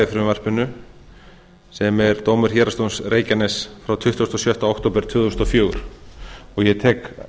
frumvarpinu sem er dómur héraðsdóms reykjaness frá tuttugasta og sjötta október tvö þúsund og fjögur og ég tek